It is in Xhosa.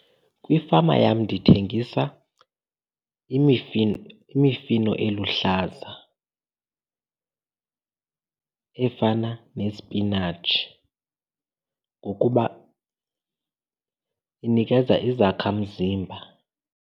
Kwifama yam ndithengisa imifino imifino eluhlaza efana nesipinatshi ngokuba inikeza izakhamzimba.